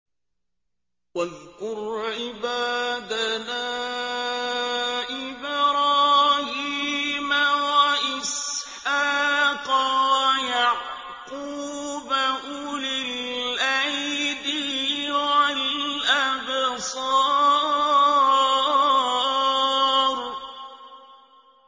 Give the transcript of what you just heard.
وَاذْكُرْ عِبَادَنَا إِبْرَاهِيمَ وَإِسْحَاقَ وَيَعْقُوبَ أُولِي الْأَيْدِي وَالْأَبْصَارِ